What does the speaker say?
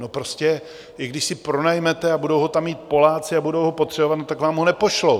No prostě i když si pronajmete a budou ho tam mít Poláci a budou ho potřebovat, tak vám ho nepošlou!